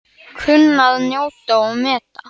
Kunni að njóta og meta.